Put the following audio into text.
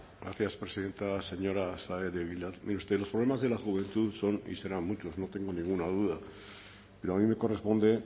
gracias presidenta señora saez de egilaz mire usted los problemas de la juventud son y serán muchos no tengo ninguna duda pero a mí me corresponde